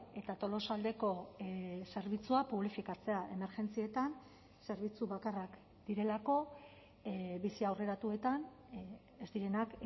eta tolosaldeko zerbitzua publifikatzea emergentzietan zerbitzu bakarrak direlako bizi aurreratuetan ez direnak